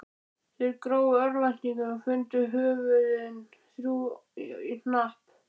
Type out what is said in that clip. Þeir grófu í örvæntingu og fundu höfuðin, þrjú í hnapp.